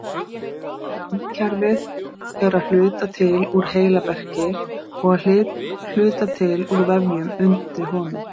Randkerfið er að hluta til úr heilaberki og að hluta til úr vefjum undir honum.